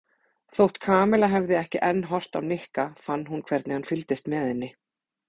Þótt Kamilla hefði ekki enn horft á Nikka fann hún hvernig hann fylgdist með henni.